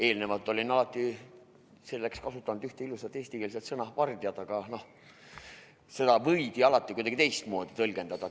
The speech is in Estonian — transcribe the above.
Eelnevalt olen alati pöördumiseks kasutanud ühte ilusat eestikeelset sõna "vardjad", aga seda võidi alati kuidagi teistmoodi tõlgendada.